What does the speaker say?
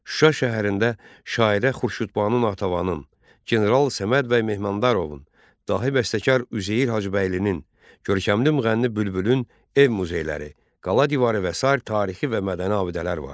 Şuşa şəhərində şairə Xurşudbanu Natavanın, general Səməd bəy Mehmanadarovun, dahi bəstəkar Üzeyir Hacıbəylinin, görkəmli müğənni Bülbülün ev muzeyləri, qala divarı və sair tarixi və mədəni abidələr vardır.